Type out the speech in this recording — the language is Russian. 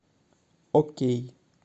окей